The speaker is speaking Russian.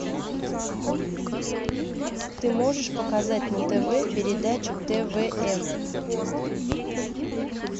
ты можешь показать на тв передачу твм